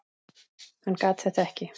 Hann gat þetta ekki.